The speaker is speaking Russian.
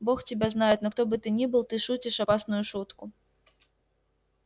бог тебя знает но кто бы ты ни был ты шутишь опасную шутку